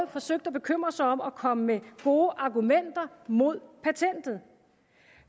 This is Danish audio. forsøgt at bekymre sig om at komme med gode argumenter mod patentet